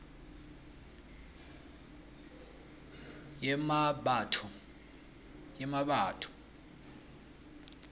yemmabatho